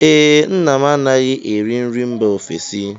Ee, nna m anaghị eri nri mba ofesi